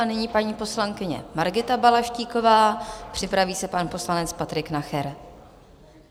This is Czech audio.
A nyní paní poslankyně Margita Balaštíková, připraví se pan poslanec Patrik Nacher.